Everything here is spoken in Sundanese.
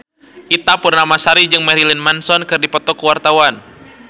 Ita Purnamasari jeung Marilyn Manson keur dipoto ku wartawan